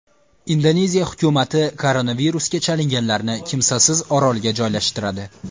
Indoneziya hukumati koronavirusga chalinganlarni kimsasiz orolga joylashtiradi.